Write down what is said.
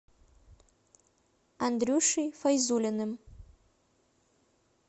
андрюшей файзуллиным